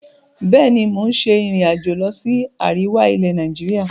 Bẹ́ẹ̀ni, mo ń ṣe ìrìn-àjò lọ sí àríwá ilẹ̀ Nàìjíríà.